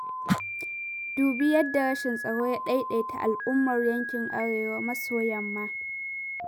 Dubi yadda rashin tsaro ya ɗaiɗaita al'ummar yankin Arewa maso-yamma.